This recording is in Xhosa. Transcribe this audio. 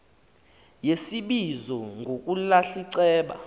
yesibizo ngokulahla iceba